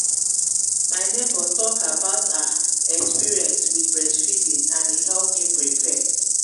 my neighbor talk about her experience with breast feeding and e help me prepare.